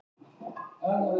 Firði